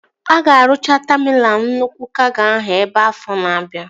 A ga-arụcha taminal nnukwu kago ahụ ebe afọ na-abia